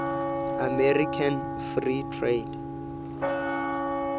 american free trade